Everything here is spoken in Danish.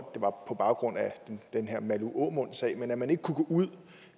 på baggrund af den her malou aamund sag at man kunne gå ud